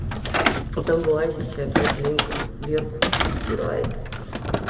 потом вылазит и опять димка верку обсирает